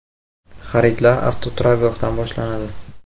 Xaridlar avtoturargohdan boshlanadi.